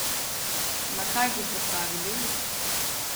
Na kaj boste stavili?